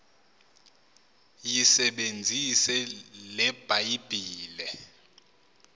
yisebenzise le bhayibhile